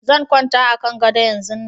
Zan kwanta a kan gado yanzun nan